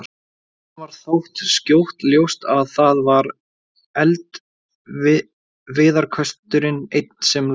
Honum varð þó skjótt ljóst að það var eldiviðarkösturinn einn sem logaði.